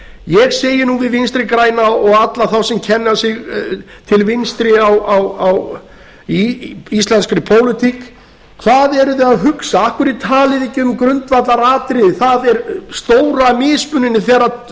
ég segi nú við vinstri græna og alla þá sem kenna sig til vinstri í íslenskri pólitík hvað eruð þið að hugsa af hverju talið þið ekki um grundvallaratriðið það er stóra mismununin þegar